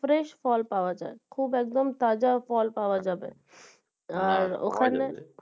fresh ফল পাওয়া যায় খুব একদম তাজা ফল পাওয়া যাবে আর ওখানে